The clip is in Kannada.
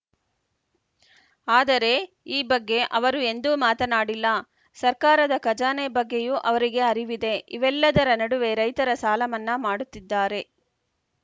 ಆದರೆ ಈ ಬಗ್ಗೆ ಅವರು ಎಂದೂ ಮಾತನಾಡಿಲ್ಲ ಸರ್ಕಾರದ ಖಜಾನೆ ಬಗ್ಗೆಯೂ ಅವರಿಗೆ ಅರಿವಿದೆ ಇವೆಲ್ಲದರ ನಡುವೆ ರೈತರ ಸಾಲಮನ್ನಾ ಮಾಡುತ್ತಿದ್ದಾರೆ